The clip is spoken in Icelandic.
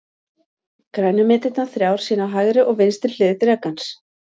Grænu myndirnar þrjár sýna hægri og vinstri hlið drekans.